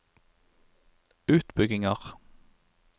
utbygginger